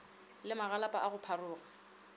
le magalapa a go pharoga